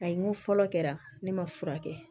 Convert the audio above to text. Ayi n ko fɔlɔ kɛra ne ma furakɛ